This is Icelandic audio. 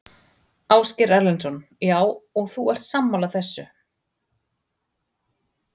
Ásgeir Erlendsson: Já, og ert þú sammála þessu?